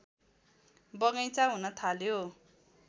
बगैँचा हुन थाल्यो